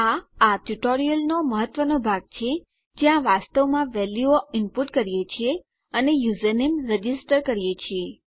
આ આ ટ્યુટોરીયલનો મહત્વનો ભાગ છે જ્યાં વાસ્તવમાં વેલ્યુઓ ઈનપુટ કરીએ છીએ અને યુઝરનેમ રજીસ્ટર કરીએ છીએ